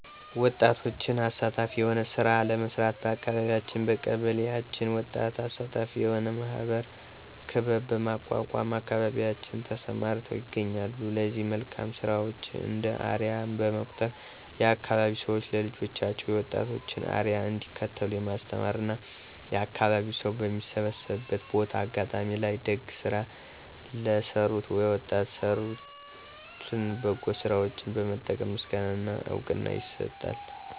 ወጣቶችን አሳታፊ የሆነ ስራ ለመስራት በአካቢያችን/በቀበሌአችን ወጣቶችን አሳታፊ የሆነ ማህበር(ክበብ) በማቋቋም አካባቢያችን ተሰማርተው ይገኛሉ ለዚህ መልካም ስራቸው እንደ አርያ በመቁጠር የአካባቢዉ ሰዎች ለልጆቻቸው የወጣቶችን አርያ እንዲከተሉ የማስተማር እና የአካባቢው ሰው በሚሰባሰብበት ቦታ(አጋጣሚ) ላይ ደግ ስራ ለሰሩት የወጣቶን የሰሩትን በጎ ስራቸውን በመጥቀስ ምስጋና እና እውቅና ይሰጣል።